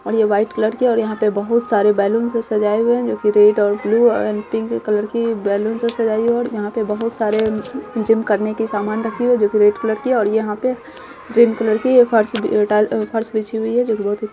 और ये white colour के और यहाँ पे बोहोत सारे बेलून्स सजाए हुए है जो कि रेड और ब्लू और पिंक कलर को बेलून्स सजाई और यहाँ पे बहुत सारे जिम करने के सामान रखे है जो कि रेड कलर की है और यहाँ पे ग्रीन कलर की फर्स बी -अ- टाइल अ -फर्स बीछी हुई है जो बोहोत ही --